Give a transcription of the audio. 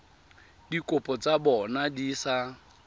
dikopo tsa bona di sa